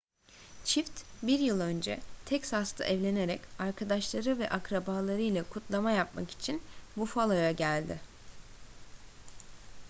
çift bir yıl önce texas'ta evlenerek arkadaşları ve akrabalarıyla kutlama yapmak için buffalo'ya geldi